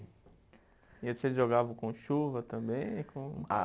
E aí vocês jogavam com chuva também, como. Ah